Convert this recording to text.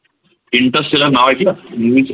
Interstellar नाव ऐकल? movie च